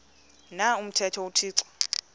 na umthetho uthixo